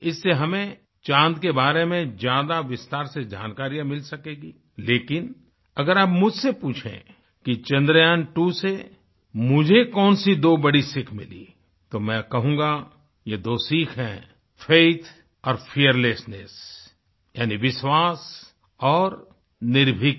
इससे हमें चाँद के बारे में ज्यादा विस्तार से जानकारियाँ मिल सकेंगी लेकिन अगर आप मुझसे पूछें कि Chandrayaantwoसे मुझे कौनसी दो बड़ी सीख मिली तो मैं कहूँगा ये दो सीख हैं फैथ और फियरलेसनेस यानी विश्वास और निर्भीकता